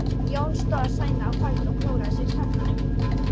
Jón stóð seinlega á fætur og klóraði sér í skallanum.